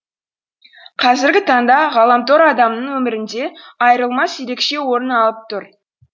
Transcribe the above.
қазіргі таңда ғаламтор адамның өмірінде айырылмас ерекше орын алып тұр